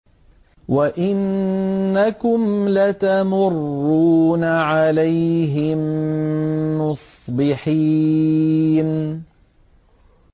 وَإِنَّكُمْ لَتَمُرُّونَ عَلَيْهِم مُّصْبِحِينَ